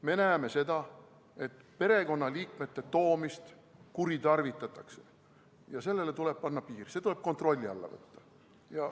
Me näeme, et perekonnaliikmete siia toomist kuritarvitatakse ja sellele tuleb panna piir, see tuleb kontrolli alla võtta.